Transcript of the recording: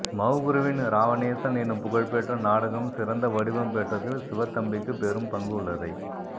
மௌகுருவின் இராவணேசன் என்னும் புகழ்பெற்ற நாடகம் சிறந்தவடிவம் பெற்றதில் சிவத்தம்பிக்குப் பெரும் பங்கு உள்ளதை